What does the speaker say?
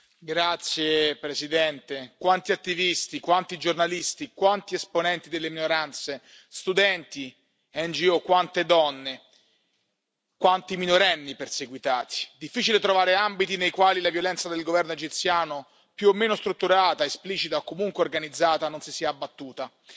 Signor Presidente, onorevoli colleghi, quanti attivisti, quanti giornalisti, quanti esponenti delle minoranze, studenti, ONG, quante donne, quanti minorenni perseguitati. Difficile trovare ambiti nei quali la violenza del governo egiziano, più o meno strutturata, esplicita o comunque organizzata non si sia abbattuta